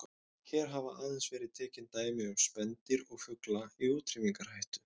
Hér hafa aðeins verið tekin dæmi um spendýr og fugla í útrýmingarhættu.